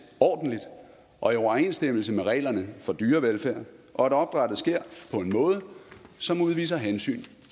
ordentligt og i overensstemmelse med reglerne for dyrevelfærd og at opdrættet sker på en måde som udviser hensyn